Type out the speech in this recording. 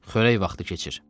Xörək vaxtı keçir.